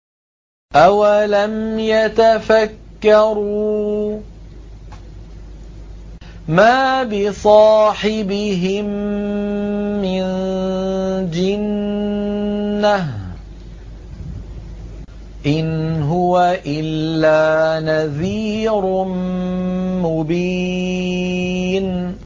أَوَلَمْ يَتَفَكَّرُوا ۗ مَا بِصَاحِبِهِم مِّن جِنَّةٍ ۚ إِنْ هُوَ إِلَّا نَذِيرٌ مُّبِينٌ